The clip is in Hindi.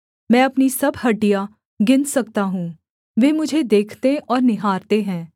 मैं अपनी सब हड्डियाँ गिन सकता हूँ वे मुझे देखते और निहारते हैं